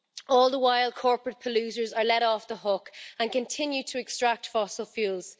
All the while corporate polluters are let off the hook and continue to extract fossil fuels.